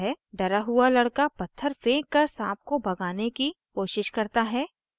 डरा हुआ लड़का पत्थर फेंक कर साँप को भगाने की कोशिश करता है